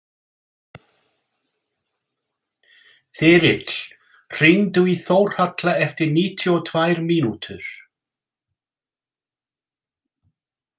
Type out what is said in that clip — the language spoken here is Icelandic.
Þyrill, hringdu í Þórhalla eftir níutíu og tvær mínútur.